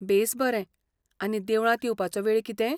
बेस बरें! आनी देवळांत येवपाचो वेळ कितें?